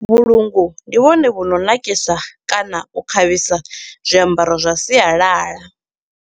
Vhulungu ndi vhone vhu no nakisa kana u khavhisa zwiambaro zwa sialala.